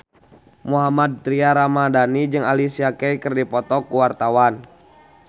Mohammad Tria Ramadhani jeung Alicia Keys keur dipoto ku wartawan